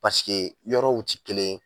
yɔrɔw tɛ kelen ye